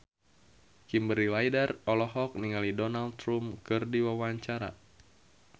Kimberly Ryder olohok ningali Donald Trump keur diwawancara